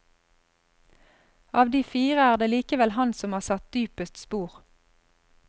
Av de fire er det likevel han som har satt dypest spor.